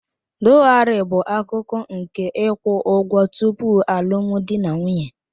Dowari bụ akụkụ nke ịkwụ ụgwọ tupu alụmdi na nwunye.